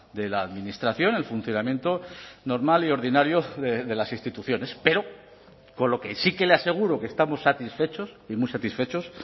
de la administración el funcionamiento normal y ordinario de las instituciones pero con lo que sí que le aseguro que estamos satisfechos y muy satisfechos